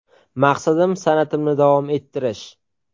Maqsadim san’atimni davom ettirish.